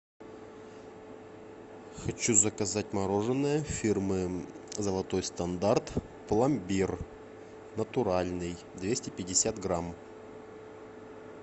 хочу заказать мороженое фирмы золотой стандарт пломбир натуральный двести пятьдесят грамм